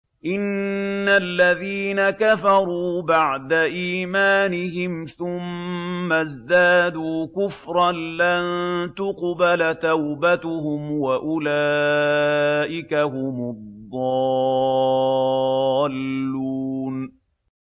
إِنَّ الَّذِينَ كَفَرُوا بَعْدَ إِيمَانِهِمْ ثُمَّ ازْدَادُوا كُفْرًا لَّن تُقْبَلَ تَوْبَتُهُمْ وَأُولَٰئِكَ هُمُ الضَّالُّونَ